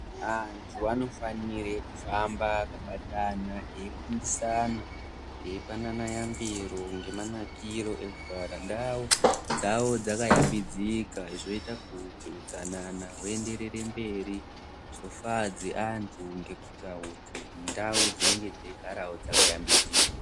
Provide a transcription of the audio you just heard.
Antu anofanire kufamba akabatana eyifundisana, eyipanana yambiro ngemanakiro ekugara ndau dzawo dzakayambidzika, zvoita kuti utsanana huenderere mberi zvofadze antu ngekuita kuti ndau dzinenge dzeigarawo dzakayambidzika.